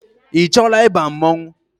Ị chọọla ịba mmọnwụ?